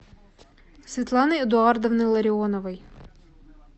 светланы эдуардовны ларионовой